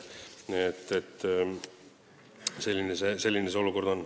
Selline see olukord on.